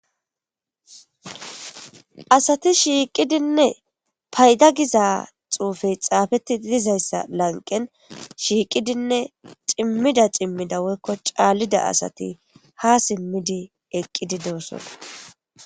Asati shiiqidinne payda giza xuufey xaafetti dizayssa lanqen shiiqidinne cimmida cimmida woykko caallida asati ha simmidi eqqidi deossona